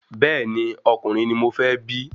Bẹ́ẹ̀ni, ọkùnrin ni mọ fẹ́ bí